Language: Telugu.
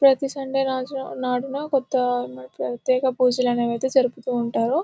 ప్రతి సండే రోజు నాడున కొత్త ప్రత్యేక పూజలు అనేవి అయితే జరుపుతూ ఉంటారు.